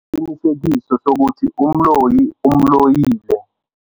Bekanesiqiniseko sokuthi umloyi umloyile.